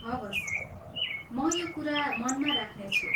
हवस्। म यो कुरा मनमा राख्नेछु।